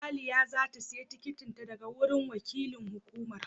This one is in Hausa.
Aliyah za ta sayi tikitin ta daga wurin wakilin hukumar.